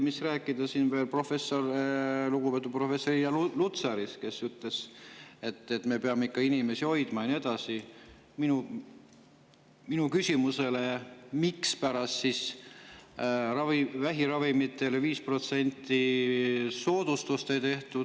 Kui rääkida lugupeetud professorist Irja Lutsarist, kes ütles, et me peame ikka inimesi hoidma ja nii edasi, siis minu küsimuse peale, miks vähiravimitele 5%-list soodustust ei tehtud …